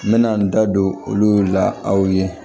N bɛna n da don olu la aw ye